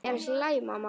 Er allt í lagi, mamma?